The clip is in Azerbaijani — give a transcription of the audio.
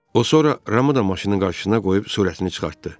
O sonra Ramı da maşının qarşısına qoyub sürətini çıxartdı.